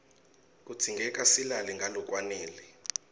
kudzingeka silale ngalokwanele